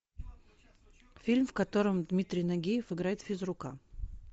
фильм в котором дмитрий нагиев играет физрука